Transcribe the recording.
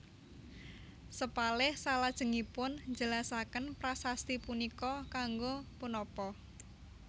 Sepalih salajengipun njelasaken prasasti punika kanggo punapa